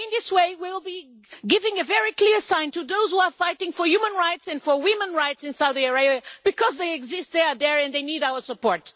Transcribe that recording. In this way, we will be giving a very clear sign to those who are fighting for human rights and for women's rights in Saudi Arabia, because they exist there and they need our support.